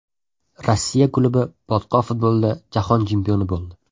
Rossiya klubi botqoq futbolida jahon chempioni bo‘ldi .